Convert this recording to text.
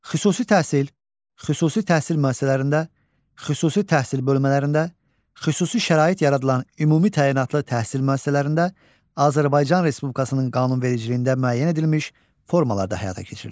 Xüsusi təhsil xüsusi təhsil müəssisələrində, xüsusi təhsil bölmələrində, xüsusi şərait yaradılan ümumi təyinatlı təhsil müəssisələrində Azərbaycan Respublikasının qanunvericiliyində müəyyən edilmiş formalarda həyata keçirilir.